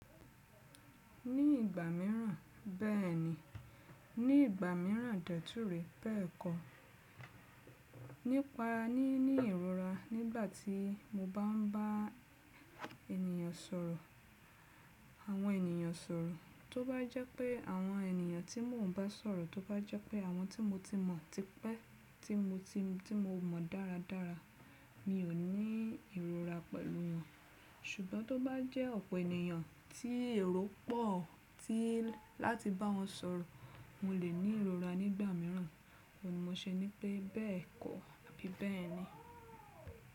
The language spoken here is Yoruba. Ní ìgbà míràn bẹ́ẹ̀ni, ní ìgbà míràn dẹ̀ túré bẹ́ẹ̀kọ. Nípa ní, ní ìrora nígbàtí mo bá n ba ènìyàn sọ̀rọ̀, àwọn ènìyàn sọ̀rọ̀, tó bá jẹ́ pé àwọn ènìyàn tí mò ń bá sọ̀rọ̀, tó bá jẹ́ pé àwọn tí mo ti mọ̀ tipẹ́, tí mo ti mọ̀ dáradára, mi ò ní ìrora pẹ̀lú wọn. Ṣùgbọ́n tó bá jẹ́ ọ̀pọ̀ ènìyàn tí èrò pọ̀ tí láti bá wọn sọ̀rọ̀, mo lè ní ìrora nígbà míràn. Ó ní mo ṣe ní pé bẹ́ẹ̀kọ àbi bẹ́ẹ̀ni.